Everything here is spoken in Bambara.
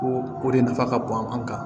Ko o de nafa ka bon an kan